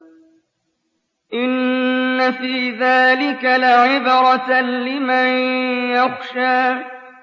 إِنَّ فِي ذَٰلِكَ لَعِبْرَةً لِّمَن يَخْشَىٰ